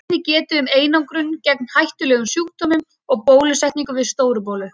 Þar er einnig getið um einangrun gegn hættulegum sjúkdómum og bólusetningu við Stóru-bólu.